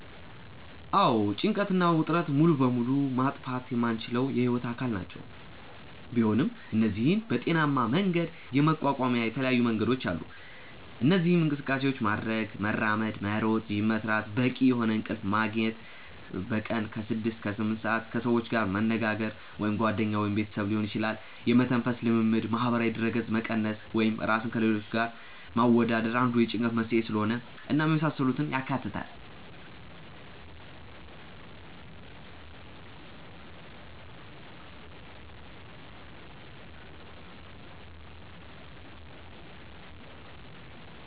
አዎ ጭንቀት እና ውጥረት ሙሉ በሙሉ ማጥፋት የማንችላቸው የህይወት አካል ናቸው፤ ቢሆን እነዚህን በጤናሜ መንገድ የመቋቋሚያ የተለያዩ መንገዶች አሉ። እነዚህም እንቅስቃሴ ማድረግ( መራመድ፣ መሮጥ፣ ጂም መስራት)፣ በቂ የሆነ እንቅልፍ መግኘት( በቀን ከ6-8ሰአት)፣ ከሰዎች ጋር መነጋገር( ጓደኛ ወይም ቤተሰብ ሊሆን ይችላል)፣ የመተንፈስ ልምምድ፣ ማህበራዊ ድረገጽ መቀነስ( ራስን ከሌሎች ጋር ማወዳደር አንዱ የጭንቀት መንስኤ ስለሆነ) እናም የመሳሰሉትን ያካትታል።